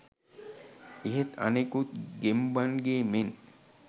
එහෙත් අනෙකුත් ගෙම්බන්ගේ මෙන්